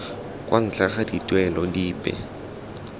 kwa ntle ga dituelo dipe